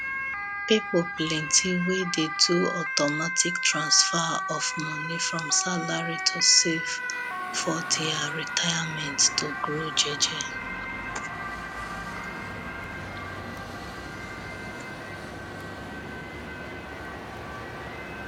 people plenty wey dey do automatic transfer of money from salary to save for their retirement to grow jeje